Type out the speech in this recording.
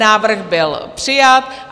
Návrh byl přijat.